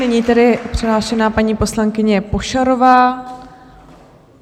Nyní tedy přihlášená paní poslankyně Pošarová.